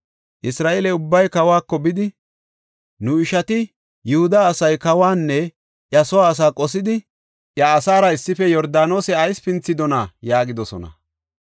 Isra7eele ubbay kawako bidi, “Nu ishati, Yihuda asay kawanne iya soo asaa qosidi, iya asaara issife Yordaanose ayis pinthidona?” yaagidosona.